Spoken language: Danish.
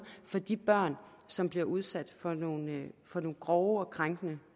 for de børn som bliver udsat for nogle for nogle grove og krænkende